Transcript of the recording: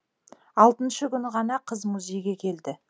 алтыншы күні ғана қыз музейге келді